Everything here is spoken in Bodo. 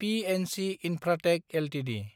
PNC Infratech Ltd